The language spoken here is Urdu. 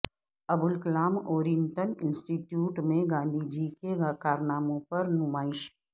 ابوالکلام اورینٹل انسٹی ٹیوٹ میں گاندھی جی کے کارناموں پر نمائش